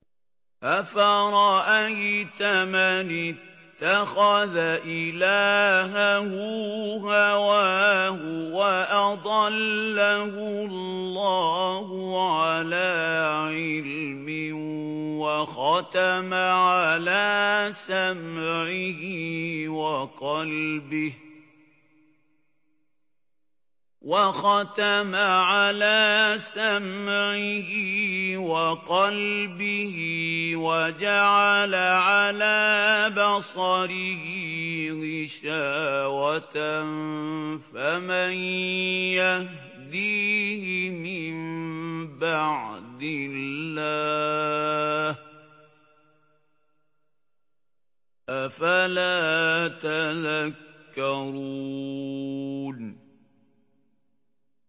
أَفَرَأَيْتَ مَنِ اتَّخَذَ إِلَٰهَهُ هَوَاهُ وَأَضَلَّهُ اللَّهُ عَلَىٰ عِلْمٍ وَخَتَمَ عَلَىٰ سَمْعِهِ وَقَلْبِهِ وَجَعَلَ عَلَىٰ بَصَرِهِ غِشَاوَةً فَمَن يَهْدِيهِ مِن بَعْدِ اللَّهِ ۚ أَفَلَا تَذَكَّرُونَ